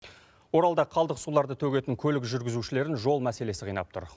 оралда қалдық суларды төгетін көлік жүргізушілерін жол мәселесі қинап тұр